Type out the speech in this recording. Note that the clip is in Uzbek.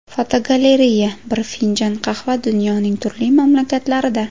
Fotogalereya: Bir finjon qahva dunyoning turli mamlakatlarida.